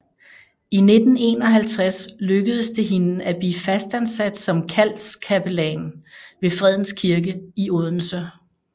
I 1951 lykkedes det hende at blive fastansat som kaldskapellan ved Fredens Kirke i Odense